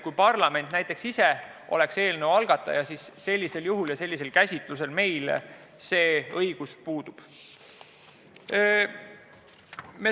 Kui parlament ise on eelnõu algataja, siis praegu meil see õigus puudub.